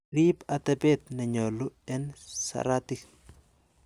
Riib atebet nenyolu en saratik.